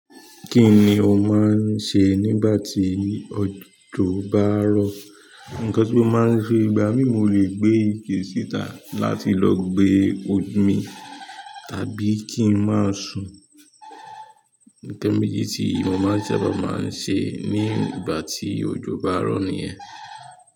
Kí ni o máa ń sẹ nígbà tí òjò bá ń rọ̀? Nkan tí mo máa ń ṣe ìgbà mí, mo lè gbé ìkẹ́ sì tà láti lọ gbé omi, tàbí kí ń máa sùn. Nkan méjì tí mo sábà máa ń ṣe nígbà tí òjò bá ń ro nìyẹn.